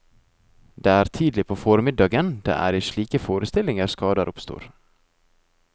Det er tidlig på formiddagen, det er i slike forestillinger skader oppstår.